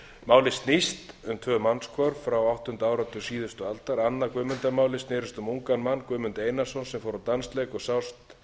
nú málin snúast um mannshvörf frá áttunda áratug síðustu aldar annað guðmundarmálið snerist um ungan mann guðmund einarsson sem fór á dansleik sást